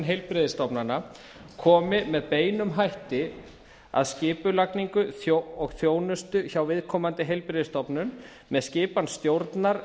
heilbrigðisstofnana komi með beinum hætti að skipulagningu og þjónustu hjá viðkomandi heilbrigðisstofnun með skipan stjórnar